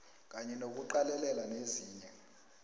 kanye nokuqalelela nezinye